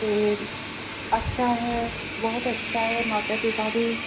ਤੇ ਅੱਛਾ ਹੈ ਬੋਹੋਤ ਅੱਛਾ ਹੈ ਮਾਤਾ ਪਿਤਾ ਦੀ